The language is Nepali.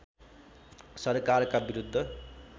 सरकारका विरुद्ध